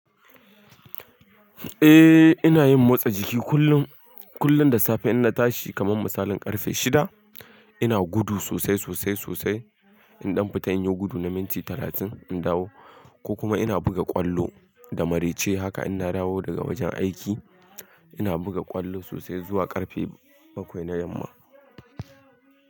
Eh ina yin motsa jiki kullum, kullum da safe in na tashi kaman misalin karfe shida ina gudu sosai sosai sosai. In dan fita in yi gudu na minti talatin in dawo ko kuma ina buga ƙwallo da maraice haka in na dawo daga wajen aiki ina buga ƙwallo sosai zuwa karfe bakwai na yamma.